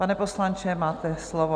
Pane poslanče, máte slovo.